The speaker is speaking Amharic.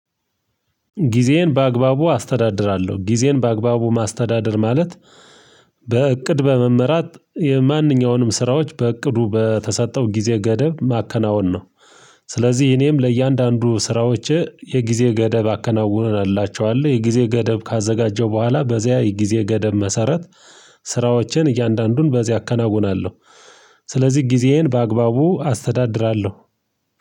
ጊዜዬን በአግባቡ አስተዳድራለሁ ጊዜዬን በአግባቡ ማስተዳደር ማለት በእቅድ በመመራት የማንኛውንም ስራዎች በእቅዱ በተሰጠው ጊዜ ገደብ ማከናወን ነው። ስለዚህ እኔም ለእያንዳንዱ ስራዎች የጊዜ ገደብ አከናውንላችኋለሁ የጊዜ ገደብ ካዘጋጀው በኋላ በዚያ የጊዜ ገደብ መሰረት ስራዎችን እያንዳንዱን በዚያ አከናውናለሁ። ስለዚህ ጊዜዬን በአግባቡ አስተዳድራለሁ።